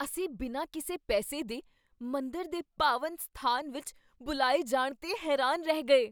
ਅਸੀਂ ਬਿਨਾਂ ਕਿਸੇ ਪੈਸੇ ਦੇ ਮੰਦਰ ਦੇ ਪਾਵਨ ਅਸਥਾਨ ਵਿੱਚ ਬੁਲਾਏ ਜਾਣ 'ਤੇ ਹੈਰਾਨ ਰਹਿ ਗਏ।